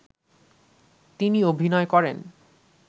তিনি অভিনয় করেন